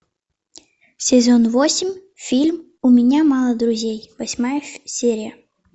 сезон восемь фильм у меня мало друзей восьмая серия